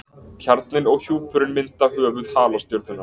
Kjarninn og hjúpurinn mynda höfuð halastjörnunnar.